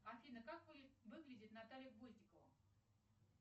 афина как выглядит наталья гвоздикова